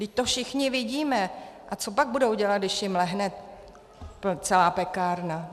Vždyť to všichni vidíme, a co pak budou dělat, když jim lehne celá pekárna?